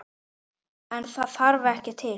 En það þarf ekki til.